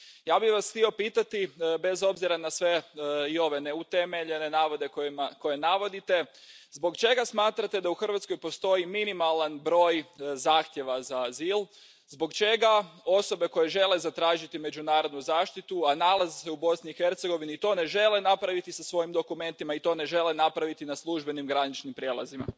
Ja bih vas htio pitati, bez obzira na sve i ove neutemeljene navode koje navodite, zbog čega smatrate da u Hrvatskoj postoji minimalan broj zahtjeva za azil, zbog čega osobe koje žele zatražiti međunarodnu zaštitu, a nalaze se u Bosni i Hercegovini to ne žele napraviti sa svojim dokumentima i to ne žele napraviti na službenim graničnim prijelazima.